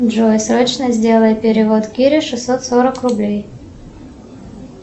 джой срочно сделай перевод кире шестьсот сорок рублей